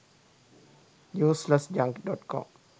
useless junk.com